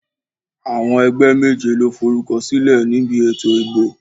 Àwọn ẹgbẹ́ méje ló forúkọ sílẹ̀ níbi ètò ìbò.